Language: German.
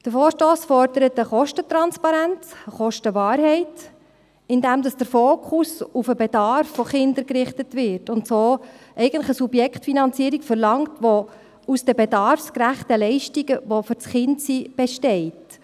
Der Vorstoss fordert Kostentransparenz und Kostenwahrheit, indem der Fokus auf den Bedarf von Kindern gerichtet wird, und verlangt so eigentlich eine Subjektfinanzierung, die aus den bedarfsgerechten Leistungen für das Kind besteht.